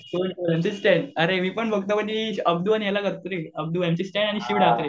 M C Stan अरे मी पण बघतो अब्दू आणि याला करतो रे अब्दू एम सी स्टॅन आणि शिवला